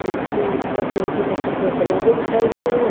ऊपर से निचे तक खिड़की के दरवाजे दिखाई देरे हैं।